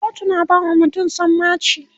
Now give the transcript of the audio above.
kotu na bawa mutum sammaci